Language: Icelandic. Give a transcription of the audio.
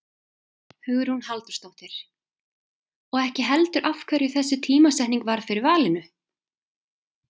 Hugrún Halldórsdóttir: Og ekki heldur af hverju þessi tímasetning varð fyrir valinu?